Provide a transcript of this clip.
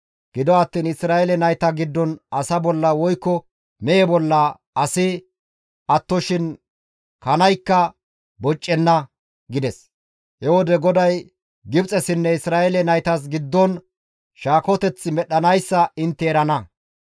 Gido attiin Isra7eele nayta giddon asa bolla woykko mehe bolla asi attoshin kanaykka boccenna› gides. He wode GODAY Gibxessinne Isra7eele naytas giddon shaakoteth medhdhanayssa intte erana.